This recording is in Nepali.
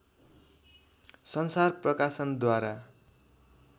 संसार प्रकाशनद्वारा